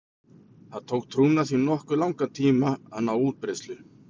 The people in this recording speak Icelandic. Það tók trúna því nokkuð langan tíma að ná útbreiðslu.